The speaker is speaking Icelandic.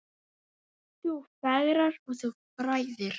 Þú fegrar og þú fræðir.